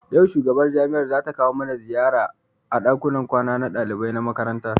Yau shugaban jami'ar mu zata kawo mana ziyara a ɗakunan kwanan ɗalibai na makaranta.